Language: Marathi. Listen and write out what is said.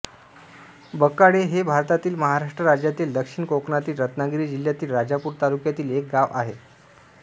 बकाळे हे भारतातील महाराष्ट्र राज्यातील दक्षिण कोकणातील रत्नागिरी जिल्ह्यातील राजापूर तालुक्यातील एक गाव आहे